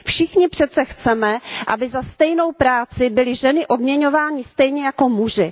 Všichni přece chceme, aby za stejnou práci byly ženy odměňovány stejně jako muži.